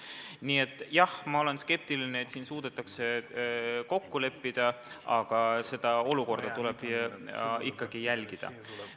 Nii et jah, ma olen skeptiline, et suudetakse kokku leppida, aga seda olukorda tuleb ikkagi jälgida.